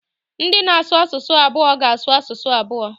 Ndị na-asụ asụsụ abụọ ga-asụ asụsụ abụọ.